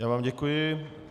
Já vám děkuji.